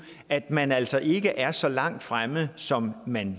at man altså ikke er så langt fremme som man